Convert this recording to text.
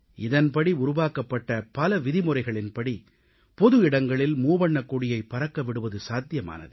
இதன்படி உருவாக்கப்பட்ட பல விதிமுறைகளின்படி பொதுவிடங்களில் மூவண்ணக் கொடியைப் பறக்க விடுவது சாத்தியமானது